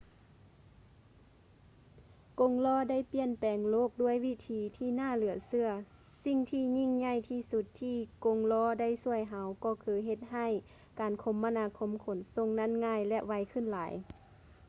ກົງລໍ້ໄດ້ປ່ຽນແປງໂລກດ້ວຍວິທີທີ່ໜ້າເຫຼືອເຊື່ອ ສິ່ງທີ່ຍິ່ງໃຫຍ່ທີ່ສຸດທີ່ກົງລໍ້ໄດ້ຊ່ວຍເຮົາກໍຄືເຮັດໃຫ້ການຄົມມະນາຄົມຂົນສົ່ງນັ້ນງ່າຍ ແລະ ໄວຂຶ້ນຫຼາຍ